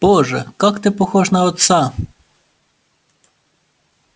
боже как ты похож на отца